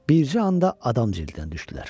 Bircə anda adam cildinə düşdülər.